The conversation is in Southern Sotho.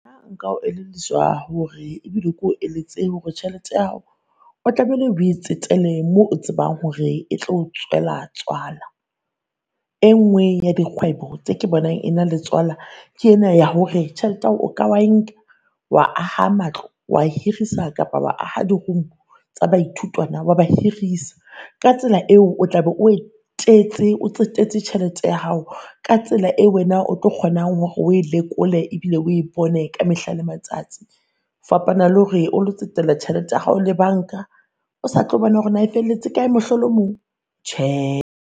Nna nka o elelliswa hore ebile ko eletse hore tjhelete ya hao o tlamehile o e tsetele mo tsebang hore e tlo o tswela tswala. E nngwe ya dikgwebo tse ke bonang ena le tswala ke ena ya hore tjhelete ao ka wa e nka wa aha matlo, wa hirisa kapa wa aha di-room tsa baithutwana wa ba hirisa. Ka tsela eo o tla be o o tsetetse tjhelete ya hao ka tsela eo wena o tlo kgonang hore o e lekole ebile o e bone ka mehla le matsatsi. Fapana lore o lo tsetela tjhelete ya hao le banka, o sa tlo bona hore naa e felletse kae, mohlolo o mong! Tjhe!